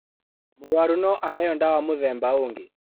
Mũrũaru no aheo ndawa mũthemba ũngĩ